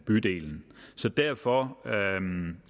bydelen derfor